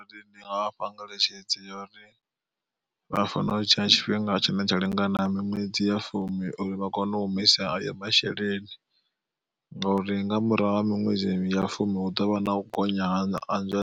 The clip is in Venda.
Ndi nga vha fha ngeletshedzo ya uri vha fanela u tshila tshifhinga tshine tsha lingana miṅwedzi ya fumi, uri vha kone u humisa ayo masheleni ngauri nga murahu ha miṅwedzi ya fumi hu ḓovha na u gonya ha nzwalelo.